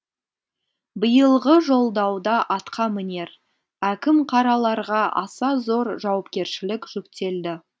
биылғы жолдауда атқамінер әкім қараларға аса зор жауапкершілік жүктелді